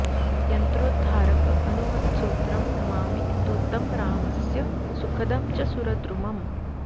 यन्त्रोद्धारक हनूमत्सोत्रम् नमामि दूतं रामस्य सुखदं च सुरद्रुमम्